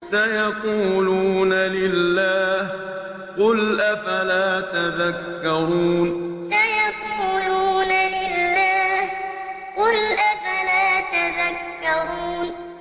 سَيَقُولُونَ لِلَّهِ ۚ قُلْ أَفَلَا تَذَكَّرُونَ سَيَقُولُونَ لِلَّهِ ۚ قُلْ أَفَلَا تَذَكَّرُونَ